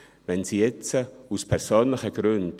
Wenn sie jetzt aus persönlichen Gründen …